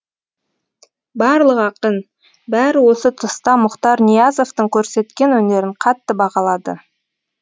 барлық ақын бәрі осы тұста мұхтар ниязовтың көрсеткен өнерін қатты бағалады